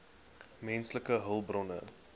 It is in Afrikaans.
menslike hulpbronne